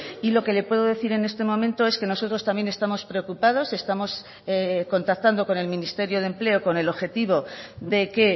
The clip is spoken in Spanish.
y lo que le puedo decir en este momento es que nosotros también estamos preocupados estamos contactando con el ministerio de empleo con el objetivo de que